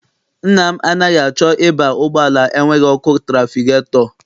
Nna m anaghị achọ ịba ụgbọala enweghị ọkụ trafigetọ.